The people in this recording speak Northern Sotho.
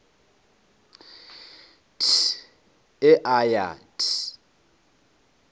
th e a ya th